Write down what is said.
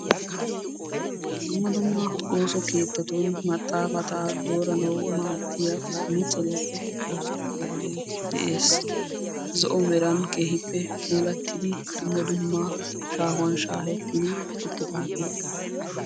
Dumma dumma ooso keettatun maxaafata dooranawu maaddiya 'admenchcheriyaappe oosettiyaagee dees, zo"o meran puulatidi dumma dumma shaahuwaan shaahetidi uttidaagee.